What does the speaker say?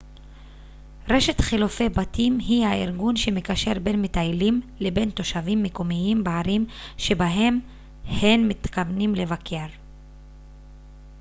רשת חילופי בתים היא הארגון שמקשר בין מטיילים לבין תושבים מקומיים בערים שבהן הם מתכוונים לבקר